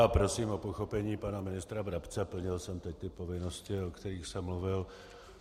Já prosím o pochopení pana ministra Brabce, plnil jsem teď ty povinnosti, o kterých jsem mluvil.